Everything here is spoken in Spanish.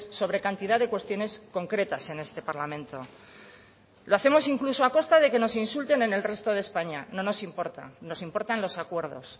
sobre cantidad de cuestiones concretas en este parlamento lo hacemos incluso a costa de que nos insulten en el resto de españa no nos importa nos importan los acuerdos